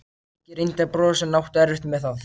Helgi reyndi að brosa en átti erfitt með það.